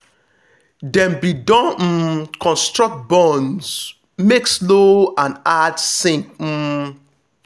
dem be don um construct bunds make slow and add sink. um